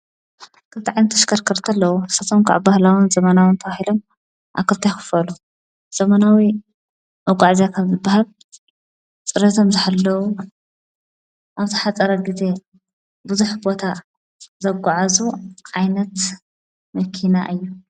ክልተ ዓይነት ተሽከርከርቲ ኣለዉ። ንሳቶም ከዓ ባህላውን ዘመናውን ተባሂሎም ኣብ ክልተ ይኽፈሉ። ዘመናዊ መጓዓዝያታት ዝበሃል ፅርየቶም ዝሓለዉ ኣብ ዝሓፀረ ግዜ ብዙሕ ቦታ ዘጓዓዕዙ ዓይነት መኪና እዮም።